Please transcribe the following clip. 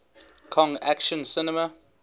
kong action cinema